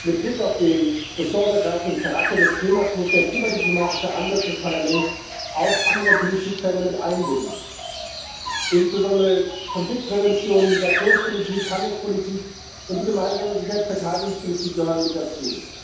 Mit Blick auf den ressortübergreifenden Charakter des Themas muss der klimadiplomatische Ansatz des Parlaments auch andere Politikfelder mit einbinden. Insbesondere Konfliktprävention, Migrationspolitik, Handelspolitik und die Gemeinsame Sicherheits und Verteidigungspolitik gehören mit dazu.